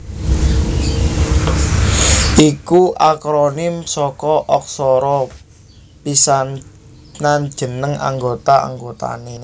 iku akronim saka aksara pisanan jeneng anggota anggotané